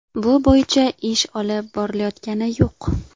Bu bo‘yicha ish olib borilayotgani yo‘q.